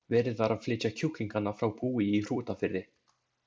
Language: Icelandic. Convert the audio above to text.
Verið var að flytja kjúklingana frá búi í Hrútafirði.